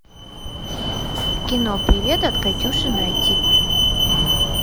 кино привет от катюши найти